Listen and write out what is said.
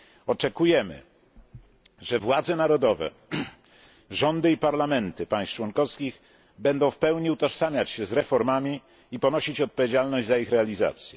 Oczekujemy, że władze narodowe, rządy i parlamenty państw członkowskich będą w pełni utożsamiać się z reformami i ponosić odpowiedzialność za ich realizację.